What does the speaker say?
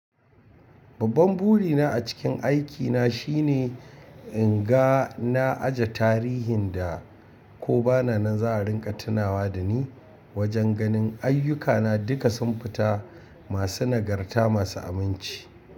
Babban burina a cikin aikina shine in ga na ajiye tarihin da ko bana nan za a ringa tunawa da ni. Wajen ganin ayyukana duka sun fita masu nagarta masu aminci.